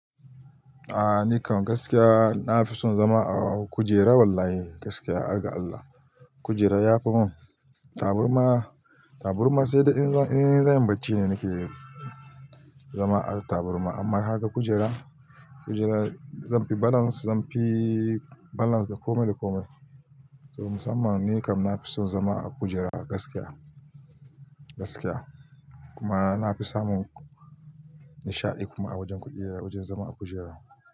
A nikam gaskiya na fi son zama a gujera wlh, gaskiya har ga Allah. Kujera ya fi mun taburma, taburma sai dai in zan yi bacci ne nake zama a taburma. Amma haka kujera, kujera zan fi balance, zan fi balance da komai da komai. To musamman ni kam na fi son zama a kujera gaskiya, gaskiya. Kuma na fi samun nishaɗi kuma a wajen kujera, wajen zama a kujera.